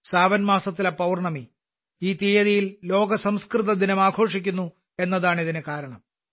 സാവൻമാസത്തിലെ പൌർണ്ണമി ഈ തീയതിയിൽ ലോക സംസ്കൃതദിനം ആഘോഷിക്കുന്നു എന്നതാണ് ഇതിന് കാരണം